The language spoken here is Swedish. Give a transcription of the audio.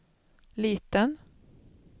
liten